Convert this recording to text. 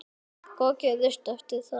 Hvað gerist eftir það?